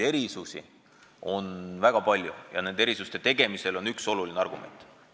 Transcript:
Erisusi on väga palju ja nende tegemisel on üks oluline argument.